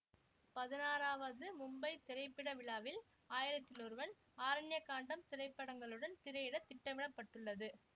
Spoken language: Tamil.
பதினாறாவது மும்பை திரைப்பட விழாவில் ஆயிரத்தில் ஒருவன் ஆரண்ய காண்டம் திரைப்படங்களுடன் திரையிடத் திட்டமிட பட்டுள்ளது